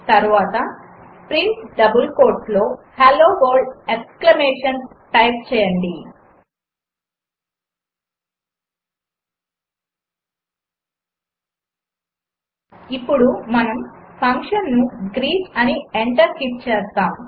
తర్వాత print double కోట్స్లో hello world exclamation type చేయండి ఇప్పుడు మనము ఫంక్షన్ను greet అని ఎంటర్ హిట్ చేస్తాము